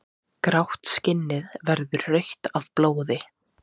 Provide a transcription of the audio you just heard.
Grátt skinnið verður rautt af blóði.